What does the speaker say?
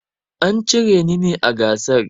An cire ni ne a gasar.